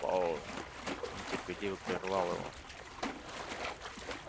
пауэлл нетерпеливо прервал его